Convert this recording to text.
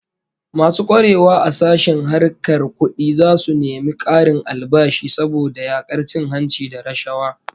Masu kwarewa a sashen harkar kudi zasu nemi karin albashi saboda yakar cin hanci da rashawa